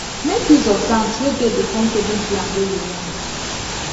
make use of banks wey get the kind saving plan wey you want